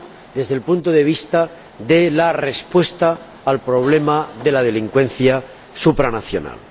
desde el punto de vista de la respuesta al problema de la delincuencia supranacional.